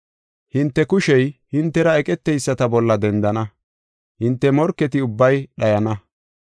Hinte kushey hintera eqeteyisata bolla dendana; hinte morketi ubbay dhayana.